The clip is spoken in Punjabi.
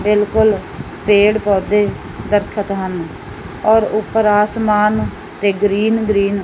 ਬਿਲਕੁੱਲ ਪੇੜ ਪੌਦੇ ਦਰੱਖਤ ਹਨ ਔਰ ਊਪਰ ਆਸਮਾਨ ਤੇ ਗਰੀਨ ਗਰੀਨ --